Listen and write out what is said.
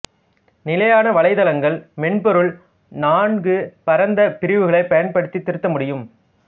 நிலையான வலைத்தளங்கள் மென்பொருள் நான்கு பரந்த பிரிவுகள் பயன்படுத்தி திருத்த முடியும்